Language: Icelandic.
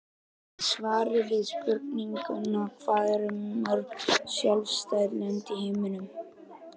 Í svari við spurningunni Hvað eru mörg sjálfstæð lönd í heiminum?